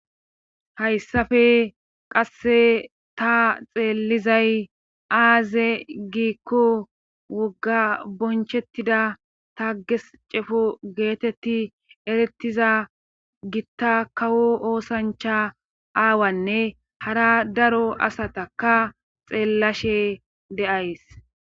hayssafe qasse ta xeellizay aaze giikko wogga bonchettida ta ges cefo geetetti erettiza gitta kawo oosancha aawanne hara daro asataka xeellashe deays.